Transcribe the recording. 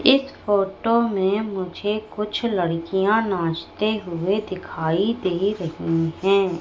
इस फोटो मे मुझे कुछ लड़कियां नाचते हुए दिखाई दे रही है।